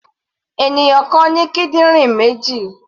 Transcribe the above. Ènìyàn kan ní kídìrín méjì.